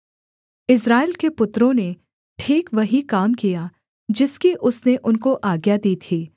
इस्राएल के पुत्रों ने ठीक वही काम किया जिसकी उसने उनको आज्ञा दी थी